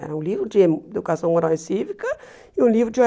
Era um livro de educação moral e cívica e um livro de ô